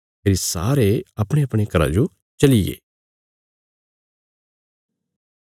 फेरी सारे अपणेअपणे घरा जो चलिये